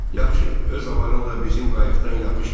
Yaxşı, öz avarınla bizim qayıqdan yapış gedək.